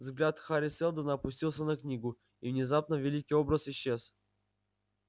взгляд хари сэлдона опустился на книгу и внезапно великий образ исчез